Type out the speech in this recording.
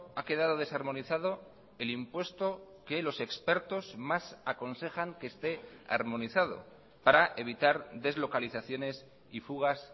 ha quedado desarmonizado el impuesto que los expertos más aconsejan que esté armonizado para evitar deslocalizaciones y fugas